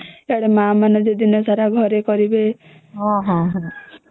ଏଇ ଆଡେ ମା ମାନନେ ଯେ ଦିନ ସାରା କରିବେ ହୁଁ